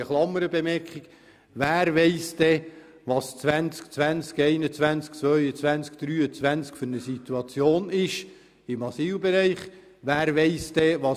Hierzu eine Klammerbemerkung: Wer kennt schon die Situation im Asylbereich in den Jahren 2020, 2021, 2022 oder 2023?